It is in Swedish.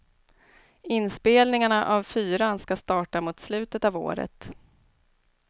Inspelningarna av fyran ska starta mot slutet av året.